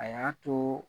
A y'a to